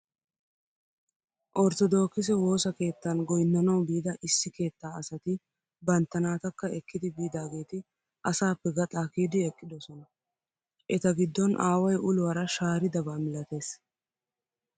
Ortodookise woosa keettan goyinnanawu biida issi keettaa asati bantta naatakka ekkidi biidageeti asaappe gaaxaa kiyidi eqqidosona. Eta giddon aaway uluwaara shaaridaba milates.